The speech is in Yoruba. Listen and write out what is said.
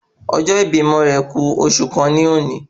Ọjọ́ ibímọ rẹ̀ ku oṣù kan ní ọ̀ni